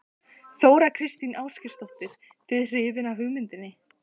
Þóra Kristín Ásgeirsdóttir:. þið hrifin af hugmyndinni?